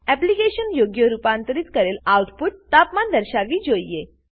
application યોગ્ય રૂપાંતરિત કરેલ આઉટપુટ તાપમાન દર્શાવવી જોઈએ